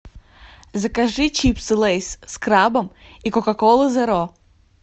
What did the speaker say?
закажи чипсы лейс с крабом и кока колу зеро